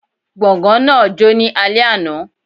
Gbọ̀gán náà jó ní alẹ́ àná